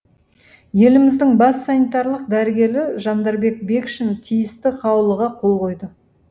еліміздің бас санитарлық дәрігері жандарбек бекшин тиісті қаулыға қол қойды